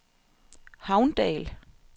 Havndal